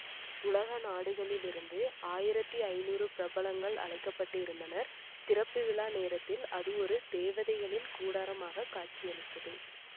உலக நாடுகளிலிருந்து ஆயிரத்தி ஐநூறு பிரபலங்கள் அழைக்க பட்டு இருந்தனர் திறப்பு விழா நேரத்தில் அது ஒரு தேவதைகளின் கூடாரமாகக் காட்சி அளித்தது